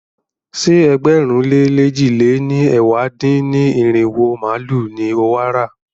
Ṣé ẹgbẹ̀rún lé lèjì lé ní ẹ̀wá dín-ní-irinwó màálu ni o wà á rà?